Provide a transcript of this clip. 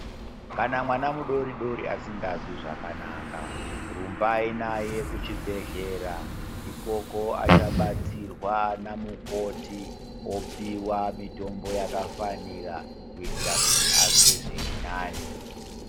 Kana mwana mudoridori asikazwi zvakanaka, rumbai naye kuchibhedhlera ikoko achabatsirwa namukoti opiwa mitombo yakafanira kuitira kuti azwe zviri nani.